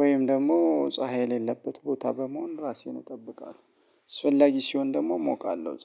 ወይም ደግሞ ፀሀይ የሌለበት ቦታ በመሆን ራሴን እጠብቃለሁ አስፍላጊ ሲሆን ደግሞ እሞቃለሁ ፀሀይ